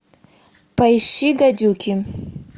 поищи гадюки